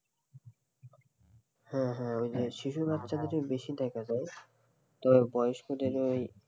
হ্যাঁ, হ্যাঁ ওই যে শিশু বাচ্চাদেরও বেশি দেখা যায় তো বয়স্কদেরও ওই এই